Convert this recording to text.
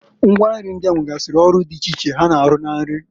Ngwa nri ndịa nwegasịrị ọrụ ọrụ di iche iche ha na-arụ na nri.